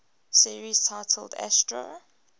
series titled astro